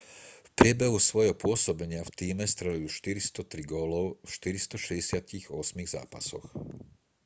v priebehu svojho pôsobenia v tíme strelil 403 gólov v 468 zápasoch